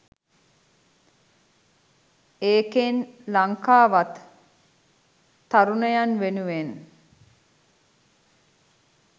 ඒකෙන් ලංකාවත් තරුණයන් වෙනුවෙන්